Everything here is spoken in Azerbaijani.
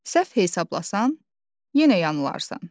Səhv hesablasan, yenə yanılarsan.